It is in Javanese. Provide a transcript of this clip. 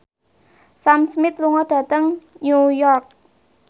Sam Smith lunga dhateng New York